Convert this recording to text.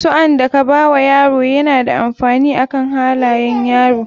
Suan da ka bawa yaro yana da amfani akan halayan yaro.